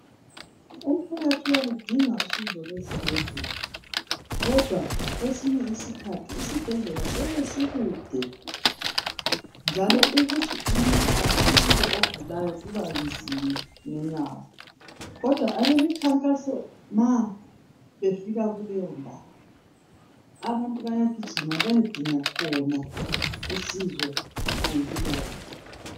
Umphakathi uyaludinga usizo lwesibhedlela, kodwa kwesinye isikhathi isibhedlela siyabe sikude, njalo ukuthi umuntu afike ogulayo kuba kubenzima ngenyawo. Kodwa abeminkangaso ma befika kuleyo ndawo , abantu bayagijima bayekhona khona usizo ngemphilo yabo